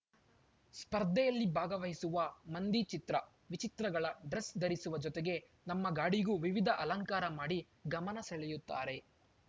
ಸ್ಪರ್ಧೆಯಲ್ಲಿ ಭಾಗವಹಿಸುವ ಮಂದಿ ಚಿತ್ರ ವಿಚಿತ್ರಗಳ ಡ್ರೆಸ್ ಧರಿಸುವ ಜೊತೆಗೆ ತಮ್ಮ ಗಾಡಿಗೂ ವಿವಿಧ ಅಲಂಕಾರ ಮಾಡಿ ಗಮನ ಸೆಳೆಯುತ್ತಾರೆ